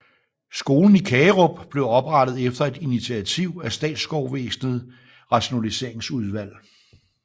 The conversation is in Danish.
Skolen i Kagerup blev oprettet efter et initiativ af statsskovvæsenet rationalseringsudvalg